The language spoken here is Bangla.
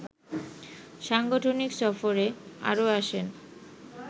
সাংগঠনিক সফরে আরও আসেন